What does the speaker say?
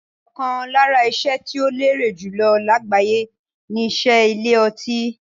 Ọ̀kan lára iṣẹ́ tí ó lérè jùlọ lágbàyé ni iṣẹ́ ilé ọtí.